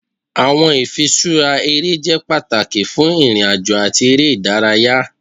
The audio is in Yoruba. Awọn ifiṣura ere jẹ pataki fun irin-ajo ati ere idaraya.